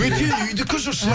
бөтен үйдікі жүр